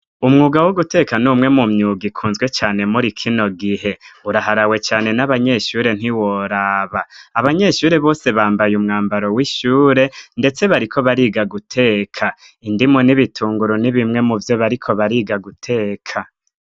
Umwuga wo guteka numwe mu myuga ikunzwe cane muri kino gihe uraharawe cyane n'abanyeshure ntiworaba abanyeshure bose bambaye umwambaro w'ishure ndetse bariko bariga guteka indimu n'ibitunguru n'ibimwe mu vyo bariko bariga guteka.